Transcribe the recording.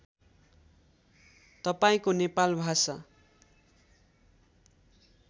तपाईँको नेपाल भाषा